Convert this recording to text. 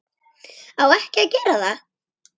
Á ekki að gera það.